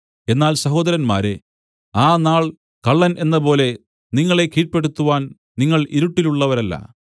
എന്നാൽ സഹോദരന്മാരേ ആ നാൾ കള്ളൻ എന്നപോലെ നിങ്ങളെ കീഴ്പെടുത്തുവാൻ നിങ്ങൾ ഇരുട്ടിലുള്ളവരല്ല